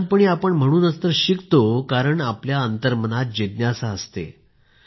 लहानपणी आपण म्हणूनच तर शिकतो कारण आपल्या अंतर्मनात जिज्ञासा असते